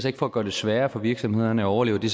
ikke for at gøre det sværere for virksomhederne at overleve det